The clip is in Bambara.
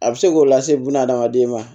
A bɛ se k'o lase buna adamaden ma